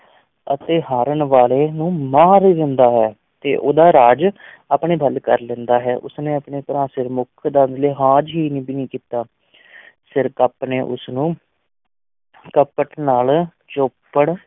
ਅਤੇ ਹਾਰਨ ਵਾਲੇ ਨੂੰ ਮਾਰ ਦਿੰਦਾ ਹੈ, ਤੇ ਉਹਦਾ ਰਾਜ ਆਪਣੇ ਵੱਲ ਕਰ ਲੈਂਦਾ ਹੈ, ਉਸ ਨੇ ਆਪਣੇ ਭਰਾ ਸਿਰਮੁੱਖ ਦਾ ਲਿਹਾਜ਼ ਨੀ ਕੀਤਾ ਸਿਰਕੱਪ ਨੇ ਉਸ ਨੂੰ ਕਪਟ ਨਾਲ ਚੌਪੜ